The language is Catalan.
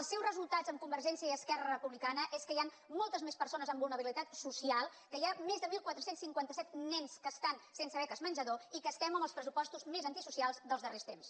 el seu resultat amb convergència i esquerra republicana és que hi han moltes més persones amb vulnerabilitat social que hi ha més de catorze cinquanta set nens que estan sense beques menjador i que estem amb els pressupostos més antisocials dels darrers temps